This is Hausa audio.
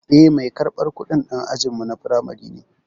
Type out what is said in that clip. Eh, mai karɓar kudin dan ajinmu na firamare ne.